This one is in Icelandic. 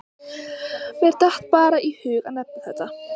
Mér datt bara í hug að nefna þetta.